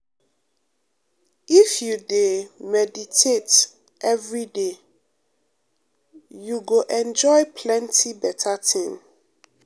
um if you dey um meditate um every day you go enjoy plenty better thing.